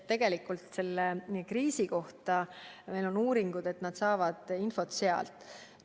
Tegelikult on selle kriisi puhul tehtud uuringuid, mille kohaselt väga paljud saavad infot sealt.